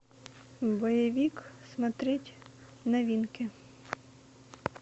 боевик смотреть новинки